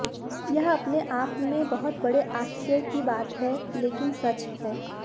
यह अपने आपमें बहुत बड़े आश्चर्य की बात है लेकिन सच है